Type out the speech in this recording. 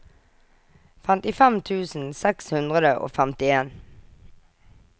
femtifem tusen seks hundre og femtien